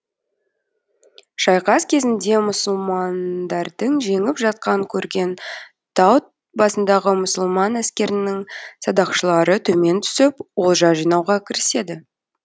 шайқас кезінде мұсылмандардың жеңіп жатқанын көрген тау басындағы мұсылман әскерінің садақшылары төмен түсіп олжа жинауға кіріседі